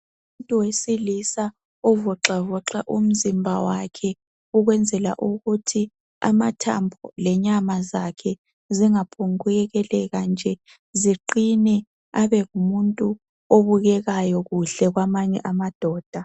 Umuntu wesilisa ovoxavoxa umzimba wakhe ukwenzela ukuthi amathambo lenyama zakhe zingaphombukuyekeleka nje ziqine abe ngumuntu obukekayo kuhle kwamanye amadoda.